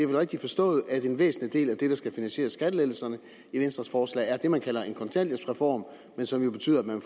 rigtigt forstået at en væsentlig del af det der skal finansiere skattelettelserne i venstres forslag er det man kalder en kontanthjælpsreform men som jo betyder at man